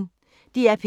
DR P1